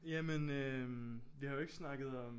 Jamen øh vi har jo ikke snakket om